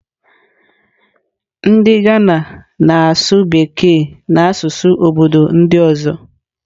Ndị Ghana na-asụ Bekee na asụsụ obodo ndị ọzọ.